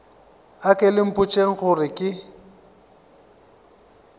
anke le mpotšeng gore ke